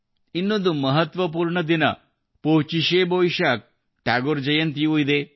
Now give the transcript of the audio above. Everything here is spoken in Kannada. ಇನ್ನೊಂದು ಮಹತ್ವಪೂರ್ಣ ದಿನಪೋಚಿಶೆ ಬೋಯಿಶಾಕ್ಅಂದರೆ ಟ್ಯಾಗೋರ್ ಜಯಂತಿಯೂ ಇದೆ